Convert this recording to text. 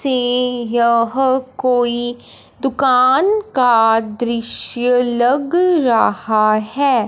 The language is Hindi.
से यह कोई दुकान का दृश्य लग रहा हैं।